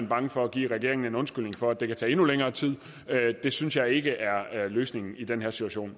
bange for at give regeringen en undskyldning for at det kan tage endnu længere tid det synes jeg ikke er er løsningen i den her situation